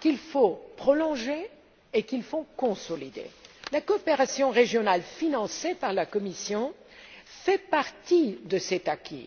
qu'il faut prolonger et qu'il faut consolider. La coopération régionale financée par la Commission fait partie de cet acquis.